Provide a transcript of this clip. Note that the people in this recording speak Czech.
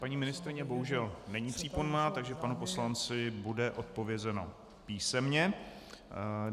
Paní ministryně bohužel není přítomna, takže panu poslanci bude odpovězeno písemně.